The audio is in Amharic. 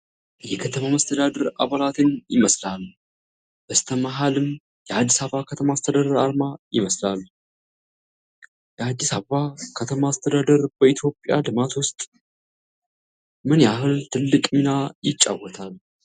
የከተማ መስተዳድር አባላትን ይመስላል። በስተመሃልም የአዲስ አበባ ከተማ አስተዳደር አርማ ይመስላል። የአዲስ አበባ ከተማ አስተዳደር በኢትዮጵያ ልማት ውስጥ ምን ያህል ትልቅ ሚና ይጫወታል?